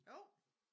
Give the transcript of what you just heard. Jo